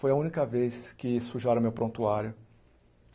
Foi a única vez que sujaram o meu prontuário.